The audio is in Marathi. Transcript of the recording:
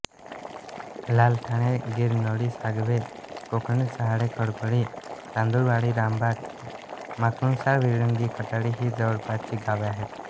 लालठाणे गिरनोळी सागवे कोकणेर चहाडे खडकोळी तांदुळवाडी रामबाग माकुणसार विळंगी खटाळी ही जवळपासची गावे आहेत